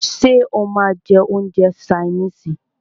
Ṣé o máà ń jẹ́ oúnjẹ ṣaínìisì?